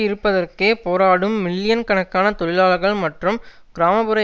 இருப்பதற்கே போராடும் மில்லியன்கணக்கான தொழிலாளர்கள் மற்றும் கிராம புற